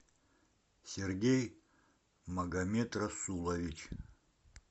сергей магомед расулович